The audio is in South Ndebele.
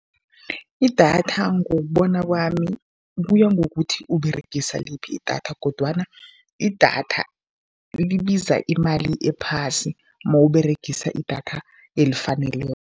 Idatha ngokubona kwami, kuya ngokuthi Uberegisa liphi idatha kodwana idatha libiza imali ephasi mawUberegisa idatha elifaneleko.